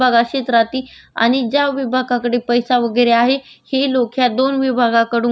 यामुळे या मार्चच्या श्रमाचे विभागणी केली आणि त्यावर आंदोलन केलं होतं